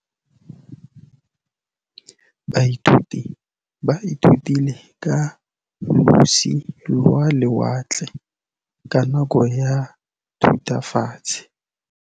Baithuti ba ithutile ka losi lwa lewatle ka nako ya Thutafatshe.